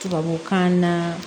Tubabukan na